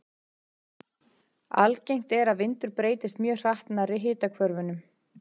Algengt er að vindur breytist mjög hratt nærri hitahvörfunum.